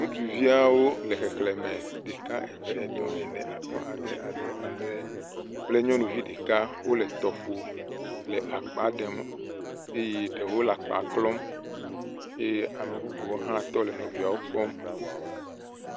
Ŋutsuviawo le xexle me ɖeka, eve, etɔ̃, ene, atɔ̃, ade, adre, adre kple nyɔnuvi ɖeka wo le tɔƒo le akpa ɖem eye ɖewo le akpa klɔm ye ame bubu wo hã tɔ le nɔviawo kpɔm.